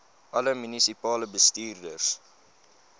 alle munisipale bestuurders